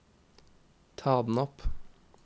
ta den opp